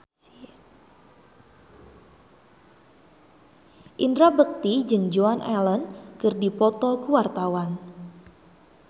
Indra Bekti jeung Joan Allen keur dipoto ku wartawan